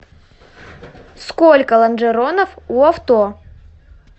сколько лонжеронов у авто